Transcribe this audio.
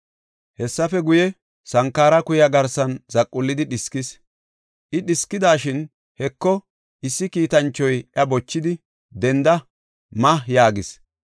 Hessafe guye, sankara kuya garsan zaqullidi dhiskis. I dhiskidashin, Heko, issi kiitanchoy iya bochidi, “Denda; ma” yaagis.